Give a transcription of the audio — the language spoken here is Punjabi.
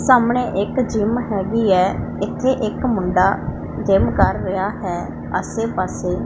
ਸਾਹਮਣੇ ਇੱਕ ਜਿੱਮ ਹੈਗੀ ਹੈ ਇੱਥੇ ਇੱਕ ਮੁੰਡਾ ਜਿੱਮ ਕਰ ਰਿਹਾ ਹੈ ਆਸੇ ਪਾੱਸੇ --